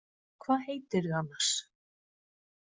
Hvað heitirðu annars?